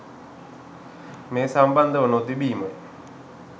මේ සම්බන්ධව නොතිබීමයි.